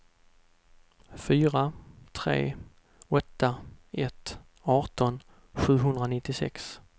fyra tre åtta ett arton sjuhundranittiosex